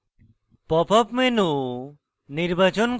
pop up menu নির্বাচন করুন